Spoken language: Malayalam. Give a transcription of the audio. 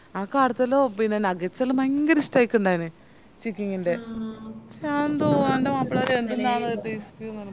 എനക്കടത്തെല്ലാം nuggets എല്ലാം ഭയങ്കര ഇഷ്ട്ടായിട്ടിണ്ടെനി chicking ൻറെ ഞാൻ ന്താ എൻറെ മാപ്പിള പറയും എന്തിന്നാന്ന് ഇത്